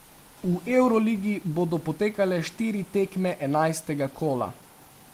V evroligi bodo potekale štiri tekme enajstega kola.